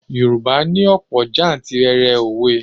Yorùbá ní òpò jantìrẹrẹ òwe.